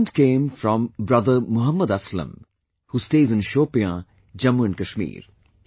This comment came from Brother Muhammad Aslam who stays in Shopian, Jammu & Kashmir